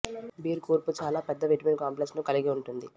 beer కూర్పు చాలా పెద్ద విటమిన్ కాంప్లెక్స్ ను కలిగి ఉంటుంది